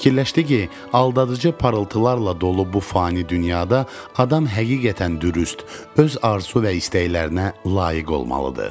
Fikirləşdi ki, aldadıcı parıltılarla dolu bu fani dünyada adam həqiqətən dürüst, öz arzu və istəklərinə layiq olmalıdır.